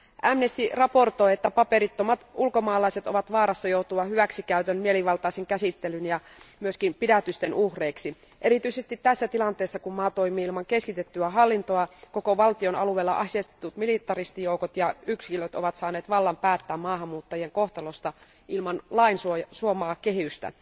Amnesty raportoi, että paperittomat ulkomaalaiset ovat vaarassa joutua hyväksikäytön, mielivaltaisen käsittelyn ja myös pidätysten uhreiksi. Erityisesti tässä tilanteessa, kun maa toimii ilman keskitettyä hallintoa, koko valtion alueella aseistetut militaristijoukot ja yksilöt ovat saaneet vallan päättää maahanmuuttajien kohtalosta ilman lain suomaa kehystä.